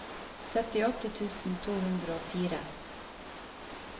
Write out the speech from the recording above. syttiåtte tusen to hundre og fire